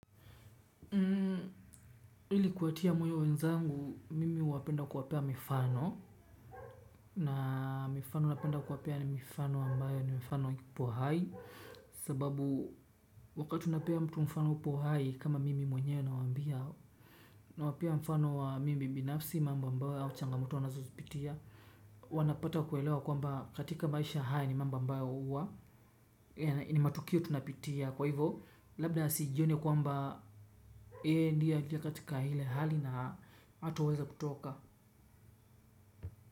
Ili kuwatia moyo wenzangu mimi napenda kuwapea mifano na mifano napenda kuwapea ni mifano ambayo ni mifano kipo hai sababu wakati unapea mtu mfano upo hai kama mimi mwenyewe nawaambia nawapea mfano wa mimi binafsi mambo ambayo au changamoto ninazo zipitia wanapata kuelewa katika maisha, haya ni mambo huwa ni matukio tunayapitia kwa hivyo asione kwamba yeye yeye ndiye katika ile hali na hataweza kutoka.